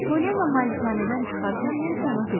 Polianna malikanədən çıxarkən Nensi ona dedi: